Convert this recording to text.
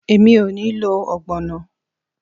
Emi o ni lo ogbono